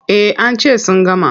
Eh an ce sun gama.